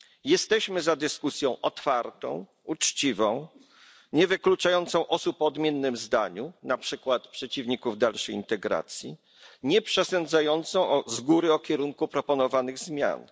Jesteśmy za dyskusją otwartą, uczciwą, nie wykluczającą osób o odmiennym zdaniu, na przykład przeciwników dalszej integracji, nie przesądzającą z góry o kierunku proponowanych zmian.